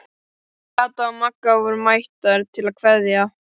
Kata og Magga voru mættar til að kveðja.